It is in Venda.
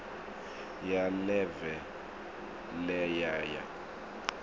ya ḽeve ḽe ya ya